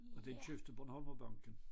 Og den købte Bornholmerbanken